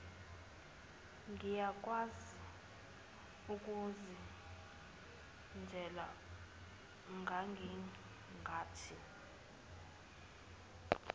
ngiyakwazi ukuzenzela ngangingathi